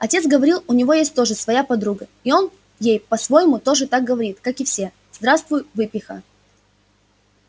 отец говорил у него есть тоже своя подруга и он ей по-своему тоже так говорит как и все здравствуй выпиха